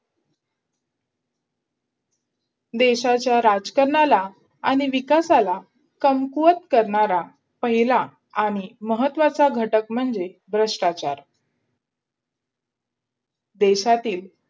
देशाच्या राजकरणाला आणि विकासाला कमकुवत करणारा पहिला आणि महत्त्वाचा घटक म्हणजे भ्रष्टाचार देशातील